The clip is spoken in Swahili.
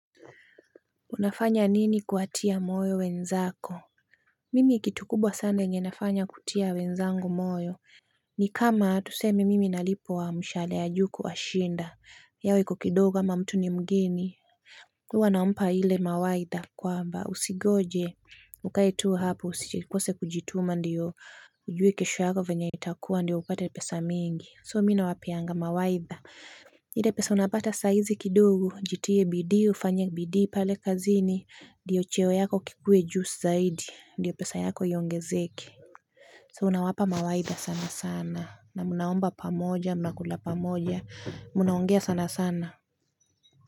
Unafanya nini kuwatia moyo wenzako? Mimi kitu kubwa sana yenye nafanya kutia wenzangu moyo. Ni kama tuseme mimi nalipwa mshahara ya juu kuwashinda. Yao iko kidogo ama mtu ni mgeni. Huwa nampa ile mawaidha kwamba usingoje. Ukae tu hapo usikose kujituma ndiyo ujue kesho yako venye itakuwa ndiyo upate pesa mingi. So mimi nawapeanga mawaidha. Napata saa hizi kidogo jitie bidii ufanye bidii pale kazini ndio cheo yako kikue juu zaidi ndiyo pesa yako iongezeke. So unawapa mawaidha sana sana. Na mnaomba pamoja, mnakula pamoja. Mnaongea sana sana.